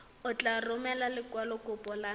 o tla romela lekwalokopo la